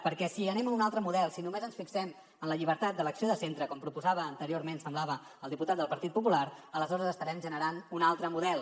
perquè si anem a un altre model si només ens fixem en la llibertat d’elecció de centre com proposava anteriorment semblava el diputat del partit popular aleshores estarem generant un altre model